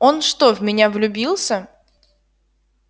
он что в меня влюбился